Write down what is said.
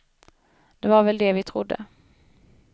Det var väl det vi trodde.